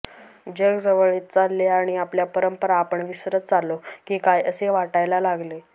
जग जवळ येत चालले आणि आपल्या परंपरा आपण विसरत चाललो की काय असे वाटायला लागले